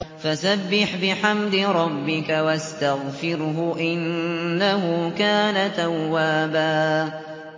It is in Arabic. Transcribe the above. فَسَبِّحْ بِحَمْدِ رَبِّكَ وَاسْتَغْفِرْهُ ۚ إِنَّهُ كَانَ تَوَّابًا